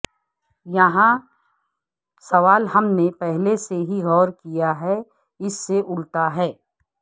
یہاں سوال ہم نے پہلے سے ہی غور کیا ہے اس سے الٹا ہے